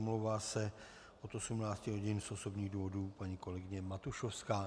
Omlouvá se od 18 hodin z osobních důvodů paní kolegyně Matušovská.